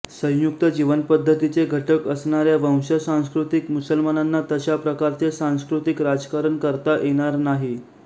संयुक्त जीवनपद्धतीचे घटक असणाऱ्या वंशसांस्कृतिक मुसलमानांना तशा प्रकारचे सांस्कृतिक राजकारण करता येणार नाही